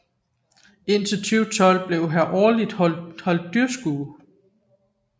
Indtil 2012 blev her årligt holdt dyrskue